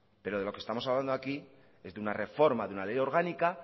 pero de lo que estamos hablando aquí es de una reforma de una ley orgánica